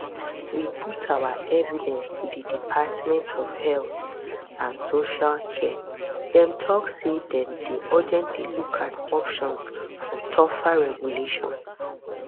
we put our evidence to di department of health and social care dem tok say dem dey urgently look at options for tougher regulation